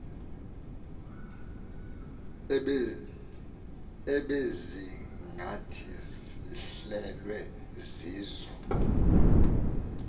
ebezingathi zihlelwe zizo